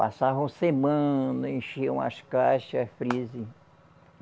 Passavam semana, enchiam as caixas, freezer